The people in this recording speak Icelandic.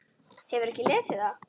Hefurðu ekki lesið það!